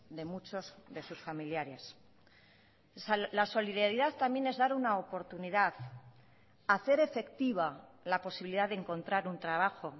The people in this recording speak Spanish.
de muchos de sus familiares la solidaridad también es dar una oportunidad hacer efectiva la posibilidad de encontrar un trabajo